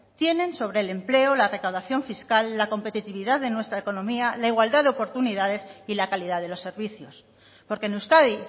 tienen sobre el empleo la recaudación fiscal la competitividad de nuestra economía en la igualdad de oportunidades y la calidad de los servicios porque en euskadi